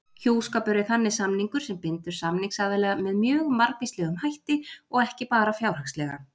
Hjúskapur er þannig samningur sem bindur samningsaðila með mjög margvíslegum hætti og ekki bara fjárhagslega.